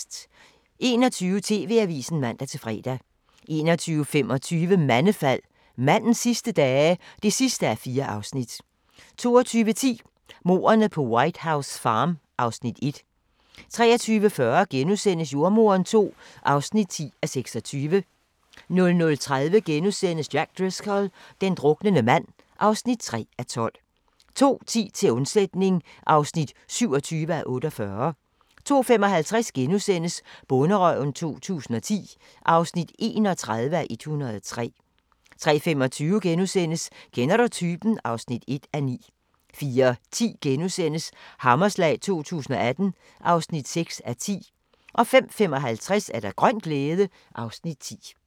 21:00: TV-avisen (man-fre) 21:25: Mandefald - mandens sidste dage? (4:4) 22:10: Mordene på White House Farm (Afs. 1) 23:40: Jordemoderen II (10:26)* 00:30: Jack Driscoll – den druknende mand (3:12)* 02:10: Til undsætning (27:48) 02:55: Bonderøven 2010 (31:103)* 03:25: Kender du typen? (1:9)* 04:10: Hammerslag 2018 (6:10)* 05:55: Grøn glæde (Afs. 10)